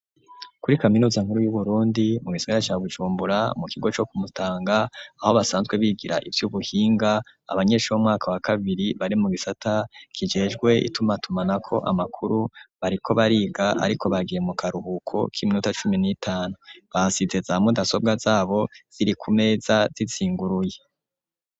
Kuri kaminuza nkuru y'uburundi mu gisagra ca bujumbura mu kigo co kumutanga aho basanzwe bigira ivyo ubuhinga abanyensha b'mwaka wa kabiri bari mu gisata kijejwe itumatumanako amakuru bariko bariga, ariko bagiye mu karuhuko k'iminuta cumi n'itanu basite zamaudasobwa zabo ziri ku meza itsinguruye.